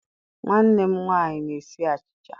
Nwanne m nwanyi na-esi achicha.